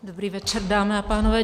Dobrý večer, dámy a pánové.